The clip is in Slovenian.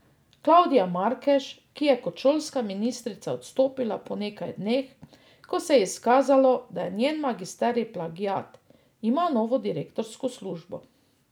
Klavdija Markež, ki je kot šolska ministrica odstopila po nekaj dneh, ko se je izkazalo, da je njen magisterij plagiat, ima novo direktorsko službo.